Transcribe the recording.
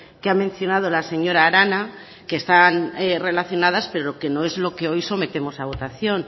que ha mencionado la señora arana que están relacionadas pero que no es lo que hoy sometemos a votación